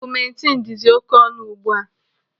Ọgụmentinu dịzi oké ọnụ ugbu a.